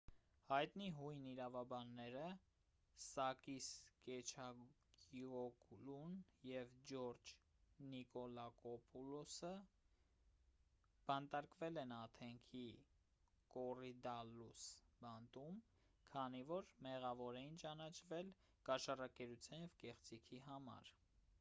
հայտնի հույն իրավաբանները սակիս կեչագիոգլուն և ջորջ նիկոլակոպուլոսը բանտարկվել են աթենքի կոռիդալլուս բանտում քանի որ մեղավոր էին ճանաչվել կաշառակերության և կեղծիքի համար